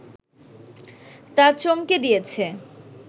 তা চমকে দিয়েছে